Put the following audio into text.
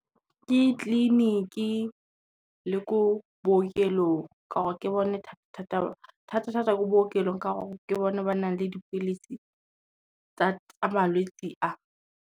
Ke tleleniki le thata thata ko bookelong ka gore ke bone ba nang le dipilisi tsa malwetsi a.